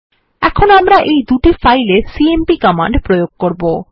এখন আমরা এই দুই ফাইল এ সিএমপি কমান্ড প্রয়োগ করবো